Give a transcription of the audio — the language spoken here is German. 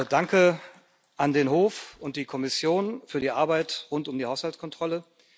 Danke an den Hof und die Kommission für die Arbeit rund um die Haushaltskontrolle.